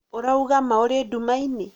ũrauga ma ũrĩ ndumainĩ